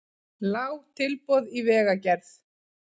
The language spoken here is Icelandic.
Lág tilboð í vegagerð